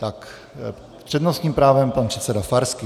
S přednostním právem pan předseda Farský.